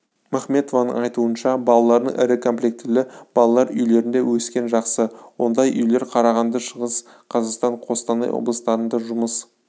махметованың айтуынша балалардың ірікомплектілі балалар үйлерінде өскені жақсы ондай үйлер қарағанды шығыс қазақстан қостанай облыстарында жұмыс